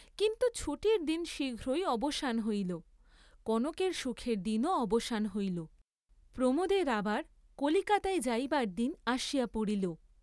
কিন্তু ছুটির দিন শীঘ্রই অবসান হইল, কনকের সুখের দিনও অবসান হইল; প্রমোদের আবার কলিকাতায় যাইবার দিন আসিয়া পড়িল।